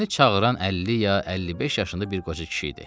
Məni çağıran əlli ya əlli beş yaşında bir qoca kişi idi.